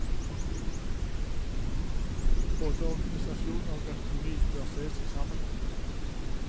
Både organisasjon og økonomi bør ses i sammenheng.